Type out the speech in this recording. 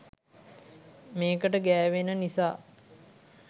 මේකට ගෑවෙන නිසා